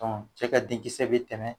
Cɛ ka denkisɛ bɛ tɛmɛ